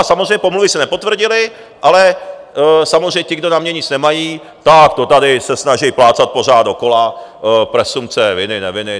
A samozřejmě pomluvy se nepotvrdily, ale samozřejmě ti, kdo na mě nic nemají, tak to tady se snaží plácat pořád dokola, presumpce viny, neviny.